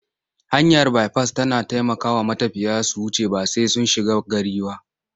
Hanyar baifas tana taikawa matafiya su wuce ba sai sun shiga gari ba.